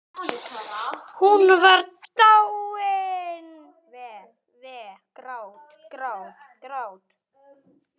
Hún var dáin.